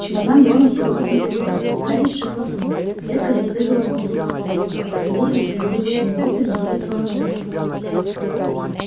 чемодан рона с грохотом упал гарри сшибло с ног клетка запрыгала на полу платформы и букля с негодующими воплями вылетела наружу